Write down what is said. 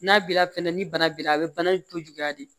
N'a bi la fɛnɛ ni bana bira a be bana in to juguya de